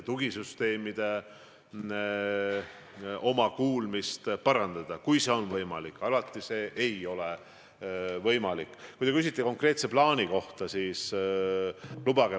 Hiljuti, kui meil oli Lõuna-Eesti torm, siis me nägime, et miski ei toimi, kuskil on mingi plaan täpsustamata.